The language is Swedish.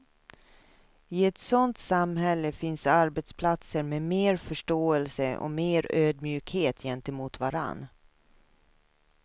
I ett sådant samhälle finns arbetsplatser med mer förståelse och mer ödmjukhet gentemot varann.